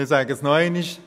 Ich sage es noch einmal: